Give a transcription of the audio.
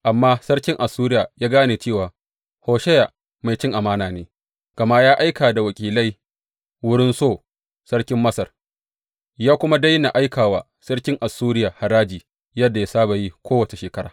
Amma sarkin Assuriya ya gane cewa Hosheya mai cin amana ne, gama ya aika da wakilai wurin So sarkin Masar, ya kuma daina aika wa sarkin Assuriya haraji yadda ya saba yi kowace shekara.